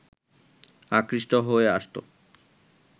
আকৃষ্ট হয়ে আসতো